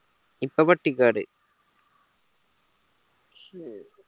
ഇപ്പൊ പട്ടിക്കാട്